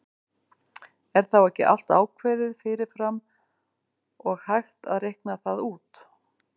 Er þá ekki allt ákveðið fyrir fram og hægt að reikna það út?